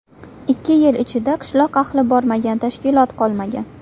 Ikki yil ichida qishloq ahli bormagan tashkilot qolmagan.